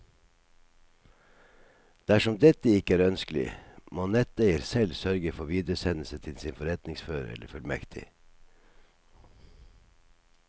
Dersom dette ikke er ønskelig, må netteier selv sørge for videresendelse til sin forretningsfører eller fullmektig.